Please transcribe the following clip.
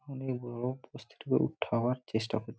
অনেক লোক চেষ্টা করছে ।